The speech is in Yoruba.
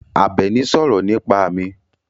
Àbẹ̀ní sọ̀rọ̀ nípa mi.